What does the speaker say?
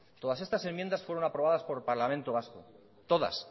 todas estas enmiendas fueron aprobadas por el parlamento vasco todas